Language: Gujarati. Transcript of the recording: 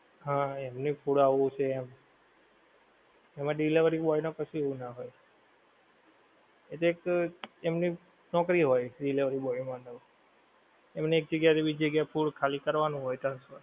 હા એમને food આવું છે એમ એમા delivery boy ને એવું કશું ના હોય એ તો એક એમની નોકરી હોય delivery boy માટેની એમની એક જગ્યાએ થી બીજી જગ્યાએ food ખાલી કરવાનું હોય transfer